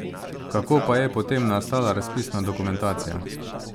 Kako pa je potem nastala razpisna dokumentacija?